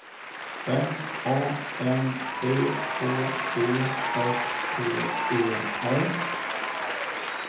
M A N C H E S T E R